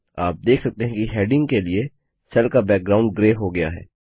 आप देख सकते हैं कि हैडिंग के लिए सेल का बैकग्राउंड ग्रे हो गया है